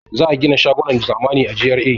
Za a gina shagunan zamani a GRA.